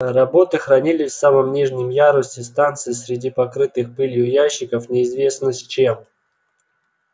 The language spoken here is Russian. роботы хранились в самом нижнем ярусе станции среди покрытых пылью ящиков неизвестно с чем